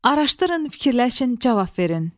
Araşdırın, fikirləşin, cavab verin.